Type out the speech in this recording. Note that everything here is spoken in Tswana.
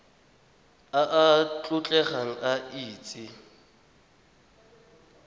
a a tlotlegang a itse